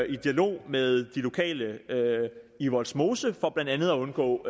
i dialog med de lokale i vollsmose for blandt andet at undgå